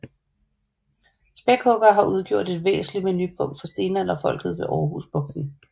Spækhuggere har udgjort et væsentligt menupunkt for stenalderfolket ved Aarhus Bugten